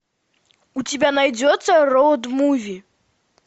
у тебя найдется роад муви